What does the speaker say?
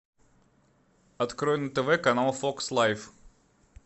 открой на тв канал фокс лайф